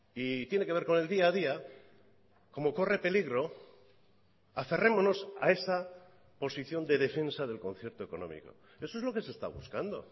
y tiene que ver con el día a día como corre peligro aferrémonos a esa posición de defensa del concierto económico eso es lo que se está buscando